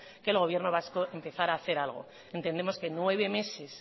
que el gobierno vasco empezara a hacer algo entendemos que nueve meses